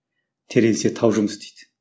теренсе тау жұмыс істейді